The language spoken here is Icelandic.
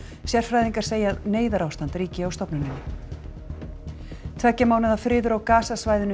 sérfræðingar segja að neyðarástand ríki á stofnunnni tveggja mánaða friður á